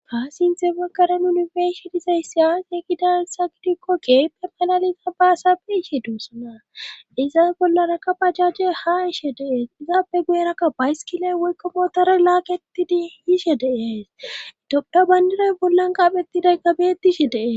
Faa sinte makaren unifeeshi dizay siyas e gidar sagidikko keeppe malaliza baasabe ishe duusana izaa bollarakka pajaje ha ishe dees izaabe guyerakka bayskiley woykkomotara laakettidi yiishe deesidophda bayndirey bollan qaapheti day gabetishe dee..